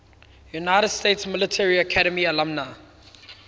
united states military academy alumni